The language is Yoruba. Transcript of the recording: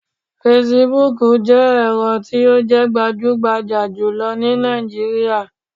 Fasibuuku jẹ́ ẹ̀rọ tí o jẹ́ gbajúgbajà jùlọ ni Nàìjíríà